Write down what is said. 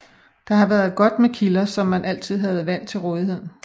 Der har været godt med kilder så man altid havde vand til rådighed